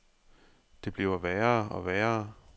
Det bliver værre og værre.